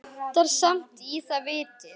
Vantar samt í það vitið.